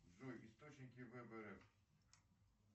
джой источники вбр